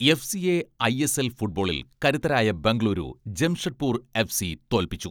എഫ്.സിയെ ISL ഫുട്ബോളിൽ കരുത്തരായ Bengaluru Jamshedpur FC തോൽപ്പിച്ചു.